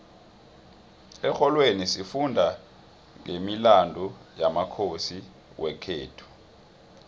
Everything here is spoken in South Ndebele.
exholweni sifunda nqemilandu yamakhosi wekhethu